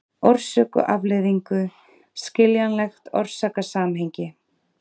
orsök og afleiðingu, skiljanlegt orsakasamhengi.